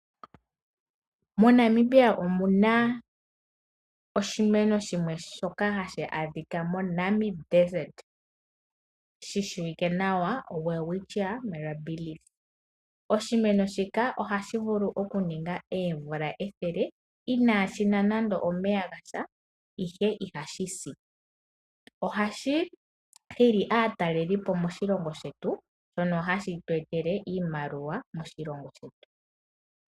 MoNamibia omu na oshimeno hashi adhika shi shimwe shoka hashi adhika moNamib desert. Shi shiwike nawa welwitchia mirabillis. Oshimweno shika ohashi vulu okuninga oomvula ethele inaashi nwa nando omeya gandja, ihe ihashi si. Ohashi hili aatalelipo moshilongo shetu shono hashi etele iimaliwa moshilongo shetu.